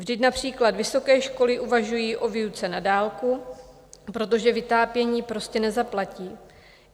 Vždyť například vysoké školy uvažují o výuce na dálku, protože vytápění prostě nezaplatí.